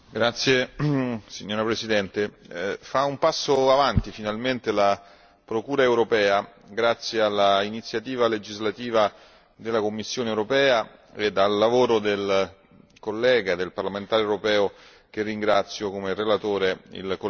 Signora Presidente, fa un passo avanti finalmente la procura europea, grazie all'iniziativa legislativa della Commissione europea e al lavoro del collega, del parlamentare europeo che ringrazio come relatore, il collega Iacolino.